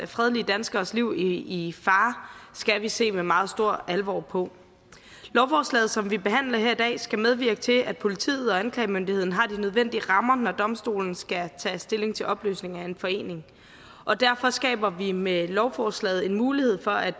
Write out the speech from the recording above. fredelige danskeres liv i i fare skal vi se med meget stor alvor på lovforslaget som vi behandler her i dag skal medvirke til at politiet og anklagemyndigheden har de nødvendige rammer når domstolen skal tage stilling til opløsning af en forening og derfor skaber vi med lovforslaget en mulighed for at